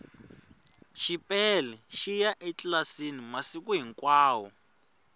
xipele xiya etlilasini masiku hinkwavo